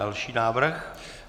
Další návrh.